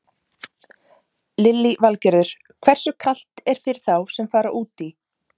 Lillý Valgerður: Hversu kalt er fyrir þá sem fara út í?